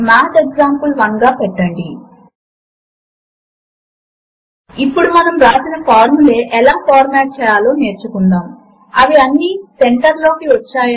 మీకు elements window కనిపించకపోతే మీరు దానిని వ్యూ మెనూ పై క్లిక్ చేసి ఎలిమెంట్స్ ను ఎంచుకోవడము ద్వారా యాక్సెస్ చేయవచ్చు